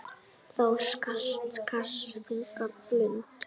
Þá skal kasta þungum blund.